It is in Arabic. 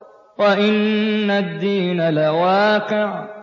وَإِنَّ الدِّينَ لَوَاقِعٌ